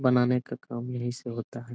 बनाने का काम यहीं से होता है।